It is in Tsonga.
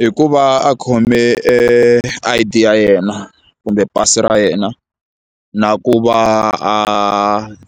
Hi ku va a khome e I_ D ya yena kumbe pasi ra yena na ku va a